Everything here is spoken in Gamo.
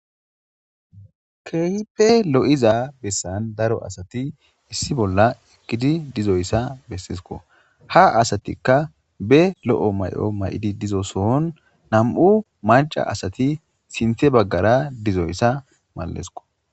Keehipe lo'iza bessan daro asati issi bolla ekkidi dizoyssa bessisko ha asatikka be lo'o may'o may7idi dizo sohon nam'u maca asati sinthe baggara dizoyssa mallesko..